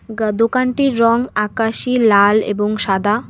গা দোকানটির রং আকাশি লাল এবং সাদা।